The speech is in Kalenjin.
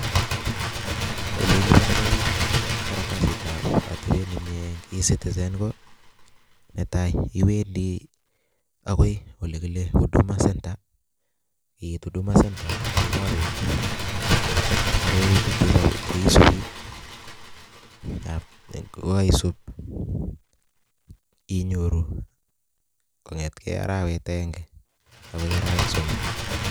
Ole ilipandei karatasitab atebet ne mie eng ecitizen ko netai iwendi akoi ole kile huduma centre iit huduma centre kiboru arorutik che isubi kokaisub inyoru kongetgei arawet agenge akoi arawek somok.